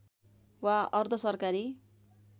वा अर्धसरकारी